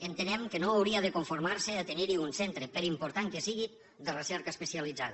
entenem que no hauria de conformar se a tenir hi un centre per important que sigui de recerca especialitzada